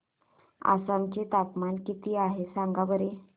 आसाम चे तापमान किती आहे सांगा बरं